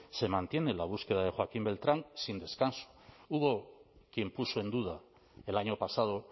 se mantiene la búsqueda de joaquín beltrán sin descanso hubo quien puso en duda el año pasado